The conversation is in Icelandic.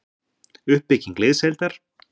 Uppbygging liðsheildar-